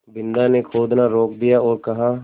बिन्दा ने खोदना रोक दिया और कहा